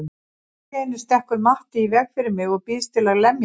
Allt í einu stekkur Matti í veg fyrir mig og býðst til að lemja mig.